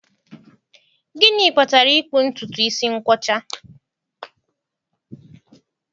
Gịnị kpatara ịkpụ ntutu isi nkwọcha?